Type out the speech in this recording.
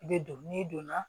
I bɛ don n'i donna